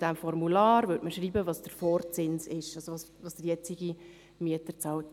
In diesem Formular würde man festhalten, was der Vorzins ist, also was der jetzige Mieter zahlt.